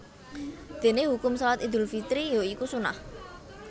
Dene hukum Shalat Idul Fitri ya iku sunnah